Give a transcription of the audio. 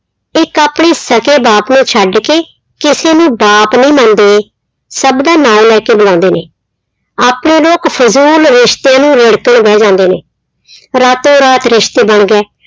ਇੱਕ ਆਪਣੀ ਸਕੇ ਬਾਪ ਨੂੰ ਛੱਡ ਕੇ ਕਿਸੇ ਨੂੰ ਬਾਪ ਨਹੀਂ ਮੰਨਦੇ, ਸਭ ਦਾ ਨਾਂ ਲੈ ਕੇ ਬੁਲਾਉਂਦੇ ਨੇ, ਆਪਣੇ ਲੋਕ ਰਿਸ਼ਤੇ ਨੂੰ ਰਿੜਕਣ ਬਹਿ ਜਾਂਦੇ ਨੇ ਰਾਤੋ ਰਾਤ ਰਿਸਤੇ ਬਣ ਗਏ।